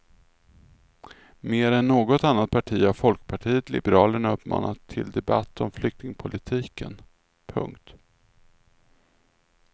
Mer än något annat parti har folkpartiet liberalerna uppmanat till debatt om flyktingpolitiken. punkt